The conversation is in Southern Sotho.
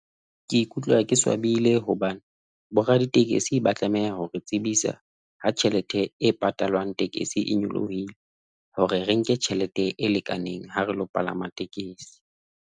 Ke ikutlwa ke swabile hobane bo raditekesi. Ba tlameha hore re tsebisa ha tjhelete e patalwang tekesi e nyolohile hore re nke tjhelete e lekaneng ha relo palama tekesi.